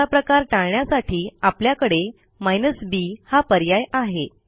असा प्रकार टाळण्यासाठी आपल्याकडे b हा पर्याय आहे